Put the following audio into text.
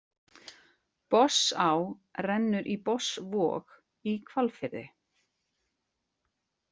Botnsá rennur í Botnsvog í Hvalfirði.